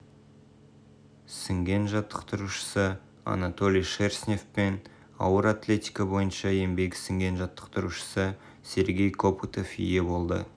сіңген жаттықтырушысы анатолий шерстнев пен ауыр атлетика бойынша еңбегі сіңген жаттықтырушысы сергей копытов ие болды